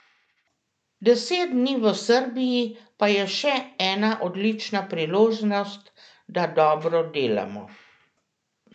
Deset dni v Srbiji pa je še ena odlična priložnost, da dobro delamo.